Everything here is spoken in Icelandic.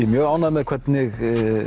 mjög ánægður með hvernig